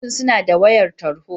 Ofishi suna da wayar tarho.